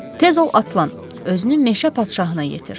Tez ol atlan, özünü meşə padşahına yetir.